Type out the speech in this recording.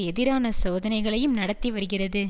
எதிரான சோதனைகளையும் நடத்தி வருகிறது